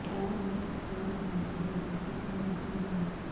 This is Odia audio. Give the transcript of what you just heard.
ସାର ମୋର ଛୁଆ ର ବାନ୍ତି ହଉଚି କିଛି ମେଡିସିନ ଦିଅନ୍ତୁ